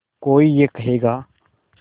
कोई ये कहेगा